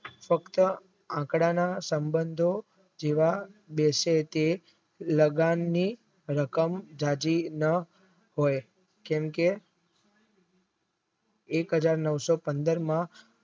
તટસ્થ આકડાના સંબંધો જેવા દેશો કે લાદનની રકમ જાજી ન કેમ કે એ હાજર નવસો પંદર માં